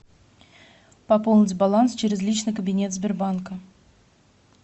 пополнить баланс через личный кабинет сбербанка